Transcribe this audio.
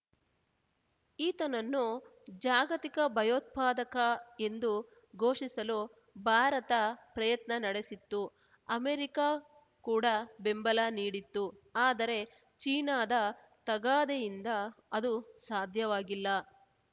ಈತನನ್ನು ಜಾಗತಿಕ ಭಯೋತ್ಪಾದಕ ಎಂದು ಘೋಷಿಸಲು ಭಾರತ ಪ್ರಯತ್ನ ನಡೆಸಿತ್ತು ಅಮೆರಿಕ ಕೂಡ ಬೆಂಬಲ ನೀಡಿತ್ತು ಆದರೆ ಚೀನಾದ ತಗಾದೆಯಿಂದ ಅದು ಸಾಧ್ಯವಾಗಿಲ್ಲ